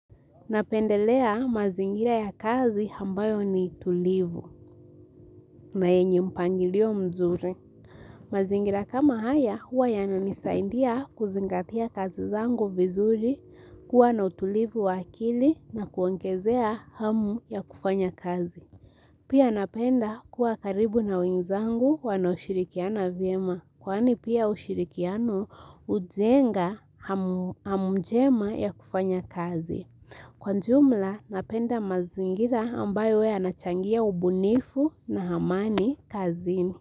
Napendelea mazingira ya kazi ambayo ni tulivu na yenye mpangilio mzuri. Mazingira kama haya huwa yananisaidia kuzingatia kazi zangu vizuri kuwa na utulivu wa akili na kuongezea hamu ya kufanya kazi. Pia napenda kuwa karibu na wenzangu wanaoshirikiana vyema. Kwani pia ushirikiano hujenga hamu njema ya kufanya kazi. Kwa jumla napenda mazingira ambayo huwa yanachangia ubunifu na amani kazini.